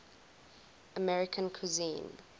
american cuisine